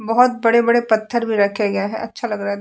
बहुत बड़े बड़े पत्थर भी रखे गए हैं। अच्छा लग रहा --